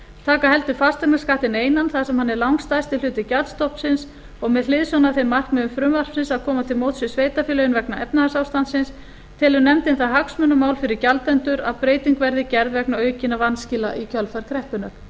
taka heldur fasteignaskattinn einan þar sem hann er langstærsti hluti gjaldstofnsins og með hliðsjón af þeim markmiðum frumvarpsins að koma til móts við sveitarfélögin vegna efnahagsástandsins telur nefndin það hagsmunamál fyrir gjaldendur að breyting verði gerð vegna aukinna vanskila í kjölfar kreppunnar